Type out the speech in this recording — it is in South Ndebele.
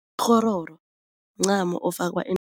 Kghororo mncamo ofakwa